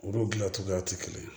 Olu dilancogoyaw tɛ kelen ye